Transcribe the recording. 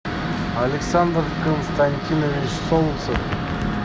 александр константинович солнцев